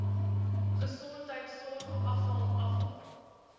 gesondheidsorg afval afval